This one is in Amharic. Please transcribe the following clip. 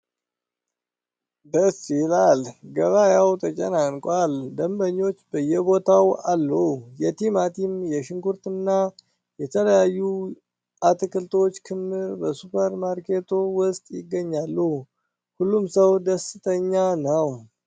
ደስ ይላል! ገበያው ተጨናንቋል! ደንበኞች በየቦታው አሉ! የቲማቲም፣ የሽንኩርትና የተለያዩ አትክልቶች ክምር በሱፐር ማርኬቱ ውስጥ ይገኛል! ሁሉም ሰው ደስተኛ ነው!